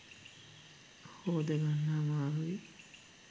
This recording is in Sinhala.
හෝදගන්න අමාරුයි.